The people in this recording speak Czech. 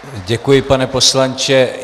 Děkuji, pane poslanče.